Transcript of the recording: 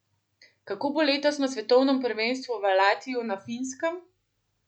Kako bo letos na svetovnem prvenstvu v Lahtiju na Finskem?